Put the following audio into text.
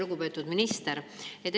Lugupeetud minister!